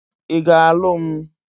I ga-alu m?